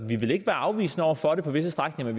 vi vil ikke være afvisende over for det på visse strækninger